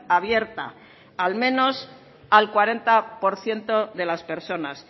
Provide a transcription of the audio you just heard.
abierta al menos al cuarenta por ciento de las personas